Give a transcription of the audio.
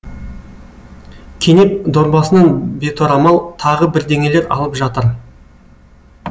кенеп дорбасынан беторамал тағы бірдеңелер алып жатыр